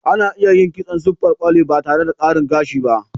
Ana iya yin kitson siffar kwali ba tare da gashin doki ba.